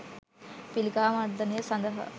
පිළිකා මර්දනය සඳහා